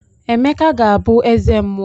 Emeka ga-abụ eze mmuo.